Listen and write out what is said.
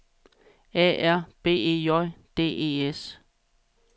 A R B E J D E S